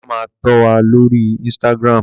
Bàbá ma tó wà lórí Instagram